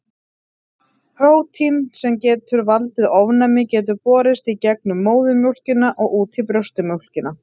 Prótín sem getur valdið ofnæmi getur borist í gegnum móðurina og út í brjóstamjólkina.